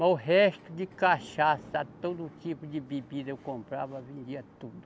Mas o resto de cachaça, todo tipo de bebida eu comprava, vendia tudo.